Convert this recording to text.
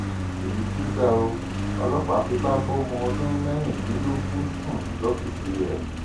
èyí tún ga ọ ọlọpàá fipá bọmọ ọdún mẹrìndínlógún sùn lọfíìsì rẹ